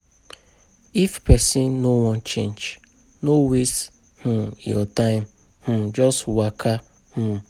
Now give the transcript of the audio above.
If person no wan change, no waste um your time, um just waka um